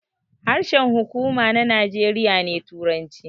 Harshen huƙuma na Najeriya ne turanci